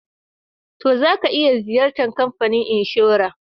To, za ka iya Ziyartan kamfanin inshora.